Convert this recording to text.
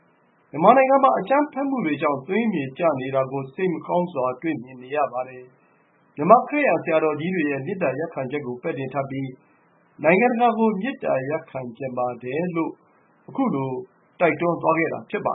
” မြန်မာနိုင်ငံမှာ အကြမ်းဖက်မှုတွေကြောင့် သွေးမြေကျနေတာကို စိတ်မကောင်းစွာ တွေ့မြင်နေရပါတယ်။ မြန်မာ-ခရစ်ယန် ဘုန်းတော်ကြီးတွေရဲ့ မေတ္တာရပ်ခံချက်နဲ့ထပ်တူ နိုင်ငံတကာကို မေတ္တရပ်ခံချင်ပါတယ်” လို့ ပြောဆိုသွားခဲ့တာ ဖြစ်ပါ